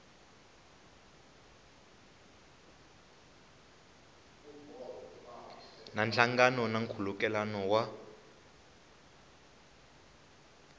na nhlangano na nkhulukelano wa